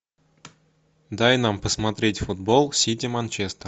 дай нам посмотреть футбол сити манчестер